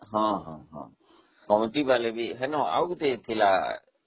ହଁ କମିଟି ବାଲା ବି, ସେଦିନ ଆଉ ଗୋଟେ ଥିଲା